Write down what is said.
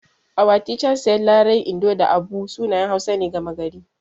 Our teacher said Larai, Indo da Abu sunayen Hausa ne gama gari.